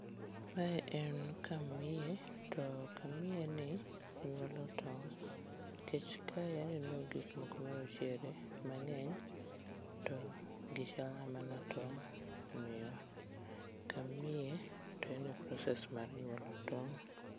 Mae en kamnie to kamnie ni nyuolo tong' nkech kae aneno gikmoko marochere mang'eny to gichalna mana tong', omiyo kamnie to en e process mar nyuolo tong'.